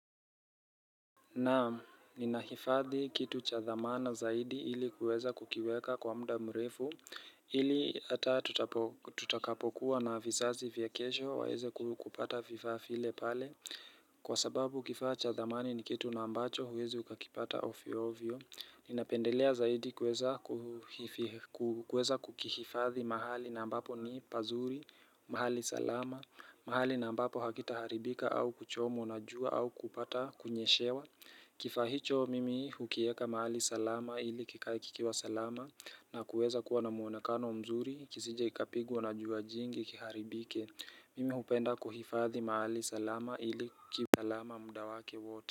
Naam ninahifadhi kitu chathamana zaidi ili kuweza kukiweka kwa mda mrefu ili hata tutakapokuwa na vizazi vya kesho waweze kupata vifaa vile pale Kwa sababu kifaa chathamani ni kitu na ambacho huwezi ukakipata ovyo ovyo Ninapendelea zaidi kuweza kukihifadhi mahali na ambapo ni pazuri, mahali salama, mahali na ambapo hakita haribika au kuchomwa na jua au kupata kunyeshewa Kifaa hicho mimi hukieka mahali salama ili kikae kikiwa salama na kuweza kuwa na muonakano mzuri kisije ikapigwa na jua jingi kiharibike Mimi hupenda kuhifathi mahali salama ili kikipa salama mudawake wote.